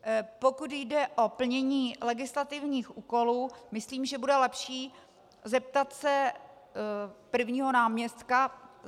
Pokud jde o plnění legislativních úkolů, myslím, že bude lepší se zeptat prvního náměstka.